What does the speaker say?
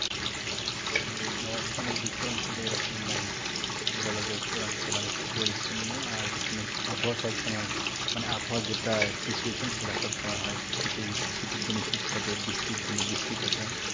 হুঁ ও আচ্ছা আমাদের উত্তর অঞ্চলে এরকম নাই বলা যায় উত্তরাঞ্চল অনেকটা পরিচ্ছন্ন আর এখানে আবহাওয়া সব সময় মানে আবহাওয়া যেটা situation সেটা সব সময় হয় শীতে যদি শীতের দিনে শীত থাকে বৃষ্টির দিনে বৃষ্টি থাকে।